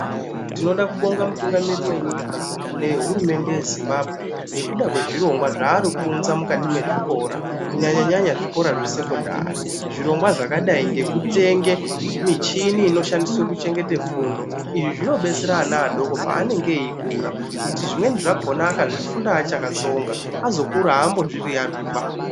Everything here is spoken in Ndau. Tinoda kubonga mutungamirir wenyika nehurumende yeZimbabwe ngekuda kwezvirongwa zvaari kuunza mukati mwezvikora kunyanya nyanya zvikora zvesekondari zvakadai nenichini inoshandiswa kuchengete fundo. Izvi zvinodetsera ana adoko paanenge eyikura kuti zvimweni zvakona akazvifunda akatsonga akura azonbozvi yiyarwiba.